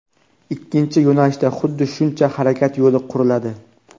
ikkinchi yo‘nalishda xuddi shuncha harakat yo‘li quriladi.